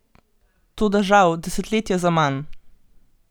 Toda žal desetletja zaman!